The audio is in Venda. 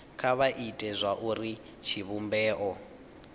kha vha ite zwauri tshivhumbeo